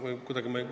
Aitäh!